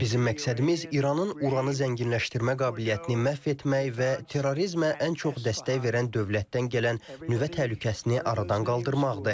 Bizim məqsədimiz İranın uranı zənginləşdirmə qabiliyyətini məhv etmək və terrorizmə ən çox dəstək verən dövlətdən gələn nüvə təhlükəsini aradan qaldırmaqdır.